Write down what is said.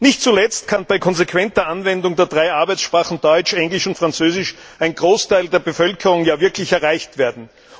Nicht zuletzt kann bei konsequenter Anwendung der drei Arbeitssprachen Deutsch, Englisch und Französisch ein Großteil der Bevölkerung wirklich erreicht werden.